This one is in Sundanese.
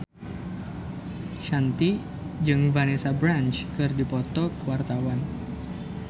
Shanti jeung Vanessa Branch keur dipoto ku wartawan